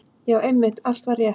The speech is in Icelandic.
Já, einmitt, allt var rétt.